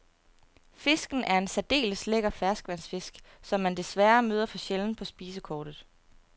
Fisken er en særdeles lækker ferskvandsfisk, som man desværre møder for sjældent på spisekortet.